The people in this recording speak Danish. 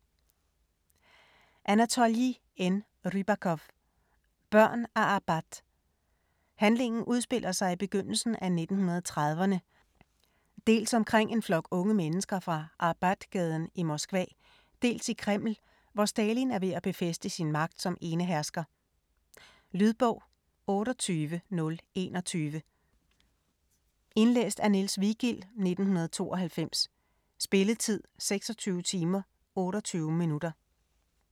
Rybakov, Anatolij N.: Børn af Arbat Handlingen udspiller sig i begyndelsen af 1930'erne - dels omkring en flok unge mennesker fra Arbatgaden i Moskva - dels i Kreml, hvor Stalin er ved at befæste sin magt som enehersker. Lydbog 28021 Indlæst af Niels Vigild, 1992. Spilletid: 26 timer, 28 minutter.